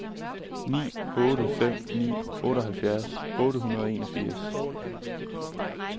ni otte fem ni otteoghalvfjerds otte hundrede og enogfirs